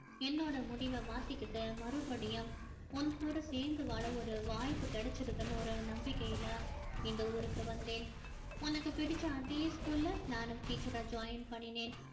என்னோட முடிவ மாத்திக்கிட்டு மறுபடியும் உன் கூட சேர்ந்து வாழ ஒரு வாய்ப்பு கிடைச்சிருக்குன்னு ஒரு நம்பிக்கையில இந்த ஊருக்கு வந்தேன் உனக்கு பிடிச்ச அதே school ல நானும் teacher ரா join பண்ணினேன்